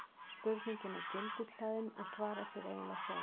spurningin er gildishlaðin og svarar sér eiginlega sjálf